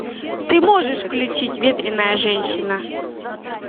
ты можешь включить ветряная женщина